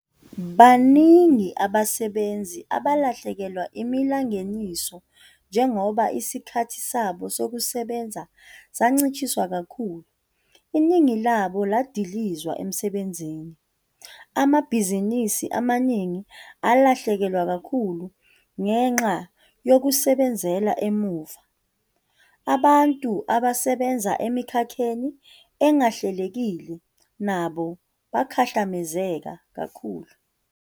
Baningi abasebenzi aba lahlekelwe imalingeniso njengoba isikhathi sabo sokusebenza sancishiswa kanti iningi labo ladilizwa emsebenzini. Amabhizinisi amaningi alahlekelwa kakhulu ngenxa yokusebenzela emuva. Abantu abasebenza emikhakheni engahlelekile nabo bakhahlamezeka kakhulu.